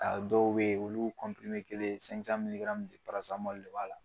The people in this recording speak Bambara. A dɔw bɛ olu kelen de b'a la